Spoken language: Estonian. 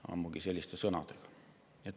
Ammugi selliste sõnadega.